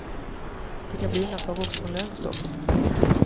Det kan bli undantag också från lönestoppet.